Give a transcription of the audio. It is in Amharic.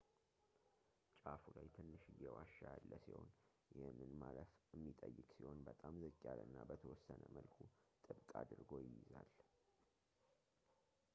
ጫፉ ላይ ትንሽዬ ዋሻ ያለ ሲሆን ይህንን ማለፍ የሚጠይቅ ሲሆን በጣም ዝቅ ያለና በተወሰነ መልኩ ጥብቅ አድርጎ ይይዛል